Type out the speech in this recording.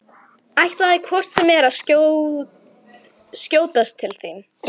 Ætlaði hvort sem er að skjótast til þín.